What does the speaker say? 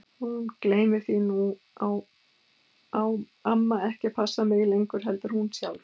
Hún gleymir því að nú á amma ekki að passa mig lengur heldur hún sjálf.